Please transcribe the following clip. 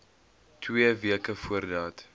twee weke voordat